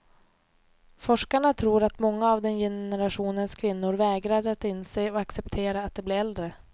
Forskarna tror att många av den generationens kvinnor vägrar att inse och acceptera att de blir äldre.